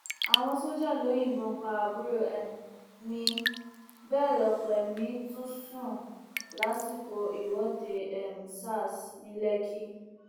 àwọn sójà ló yìnbọn pa àbúrò um mi bẹẹ lọpọ èmi tún sùn lásìkò ìwọde um sars ní lẹkì